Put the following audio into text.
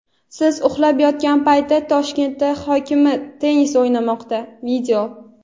"Siz uxlab yotgan payt Toshkent hokimi tennis o‘ynamoqda".